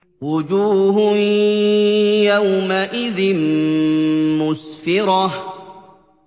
وُجُوهٌ يَوْمَئِذٍ مُّسْفِرَةٌ